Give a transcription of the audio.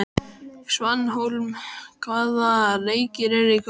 Svanhólm, hvaða leikir eru í kvöld?